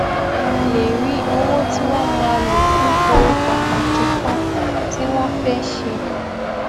lè rí owó tí wón máa lò fún ohun pàtàkì kan tí wón fé ṣe